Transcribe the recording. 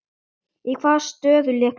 Í hvaða stöðu lékst þú?